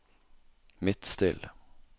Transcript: Midtstill